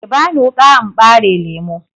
Ki bani wuƙa in ɓare lemu!